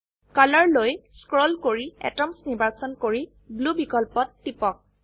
কলৰ লৈ স্ক্ৰোল কৰি এটমছ নিৰ্বাচন কৰি ব্লু বিকল্পত টিপক